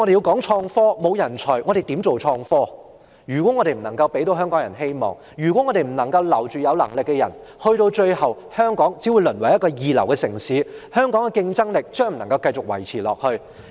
如果我們不能給香港人帶來希望，如果我們不能留住有能力的人，香港最終只會淪為一個二流城市，無法再維持香港的競爭力。